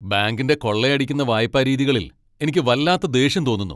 ബാങ്കിന്റെ കൊള്ളയടിക്കുന്ന വായ്പാ രീതികളിൽ എനിക്ക് വല്ലാത്ത ദേഷ്യം തോന്നുന്നു .